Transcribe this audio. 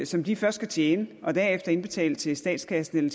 som de først skal tjene og derefter indbetale til statskassen